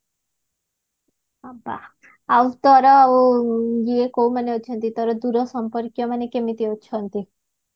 ହଁ ବା ଆଉ ତୋର ଏଇ କୋଉମାନେ ଅଛନ୍ତି ତୋର ଦୂର ସମ୍ପର୍କୀୟ ମାନେ କେମିତି ଅଛନ୍ତି